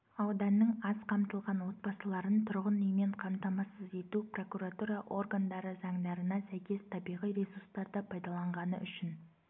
ауданның аз қамтылған отбасыларын тұрғын үймен қамтамасыз ету прокуратура органдары заңдарына сәйкес табиғи ресурстарды пайдаланғаны үшін